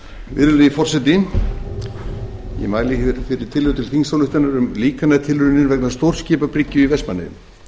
virðulegi forseti ég mæli fyrir tillögu til þingsályktunar um líkantilraunir vegna stórskipabryggju í vestmannaeyjum